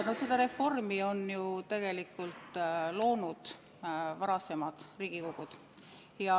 No selle reformi on ju tegelikult seadustanud varasemad Riigikogud.